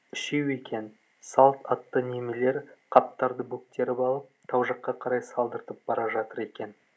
үшеу екен салт атты немелер қаптарды бөктеріп алып тау жаққа қарай салдыртып бара жатыр екен